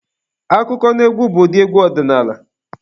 Akụkọnaegwu bụ ụdị egwu ọdinaala.